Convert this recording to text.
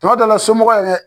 Tuma dɔ la somɔgɔ yɛrɛ